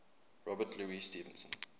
robert louis stevenson